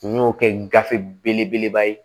N y'o kɛ gafe belebeleba ye